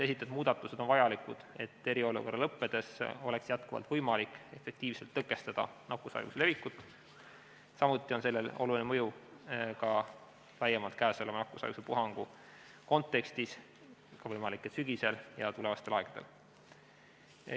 Esitatud muudatused on vajalikud, et eriolukorra lõppedes oleks jätkuvalt võimalik efektiivselt tõkestada nakkushaiguse levikut, samuti on sellel oluline mõju laiemalt käesoleva nakkushaiguspuhangu kontekstis, võimalik, et ka sügisel ja tulevastel aegadel.